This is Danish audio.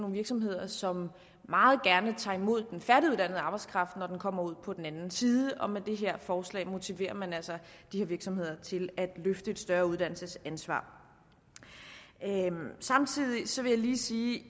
virksomheder som meget gerne tager imod den færdiguddannede arbejdskraft når den kommer ud på den anden side og med det her forslag motiverer man altså de her virksomheder til at løfte et større uddannelsesansvar jeg vil samtidig lige sige at